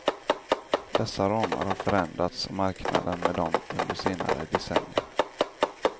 Dessa ramar har förändrats och marknaden med dem under senare decennier.